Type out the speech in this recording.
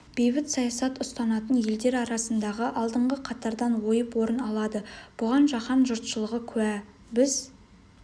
бейбіт саясат ұстанатын елдер арасында алдыңғы қатардан ойып орын алады бұған жаһан жұртшылығы куә біз